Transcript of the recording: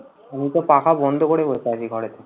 আমি তো পাখা বন্ধ করে বসে আছি ঘরে।